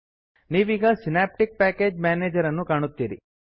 ನೀವೀಗ Synaptic package manager ಅನ್ನು ಕಾಣುತ್ತೀರಿ